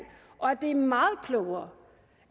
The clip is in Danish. og at det er meget klogere